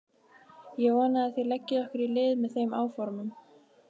Ég vona að þér leggið okkur lið í þeim áformum.